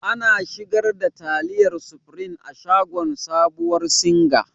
Ana sigar da taliyar supreme a shagon sabuwar singa.